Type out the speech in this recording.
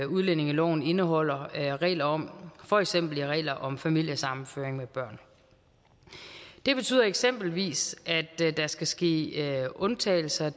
udlændingeloven indeholder regler om for eksempel regler om familiesammenføring med børn det betyder eksempelvis at der skal ske undtagelser